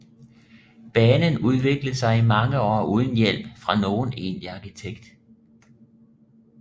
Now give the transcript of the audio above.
Banen udviklede sig i mange år uden hjælp fra nogen egentlig arkitekt